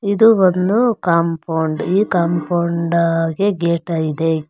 ಇದು ಒಂದು ಕಾಂಪೌಂಡ್ ಈ ಕಾಂಪೌಂಡ್ ಆ ಗೆ ಗೇಟ್ ಇದೆ.